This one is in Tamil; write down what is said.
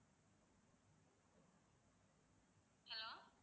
hello